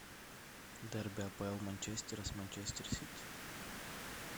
дерби апл манчестера с манчестер сити